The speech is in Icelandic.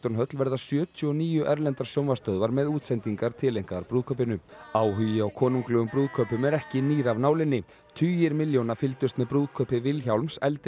höll verða sjötíu og níu erlendar sjónvarpsstöðvar með útsendingar tileinkaðar brúðkaupinu áhugi á konunglegum brúðkaupum er ekki nýr af nálinni tugir milljóna fylgdust með brúðkaupi Vilhjálms eldri